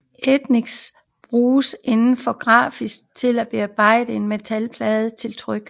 Ætsning bruges inden for grafik til bearbejdning af metalplader til tryk